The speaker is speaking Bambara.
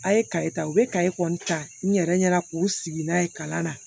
A' ye kaye ta u bɛ kaye kɔni ta n yɛrɛ ɲɛna k'u sigi n'a ye kalan na